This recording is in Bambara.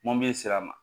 Mɔbili sira ma